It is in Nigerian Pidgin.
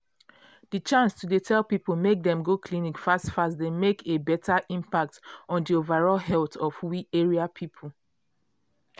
di chance to dey tell people make dem go clinic fast fast dey make a beta impact on di overall health of we area people.